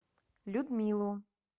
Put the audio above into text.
людмилу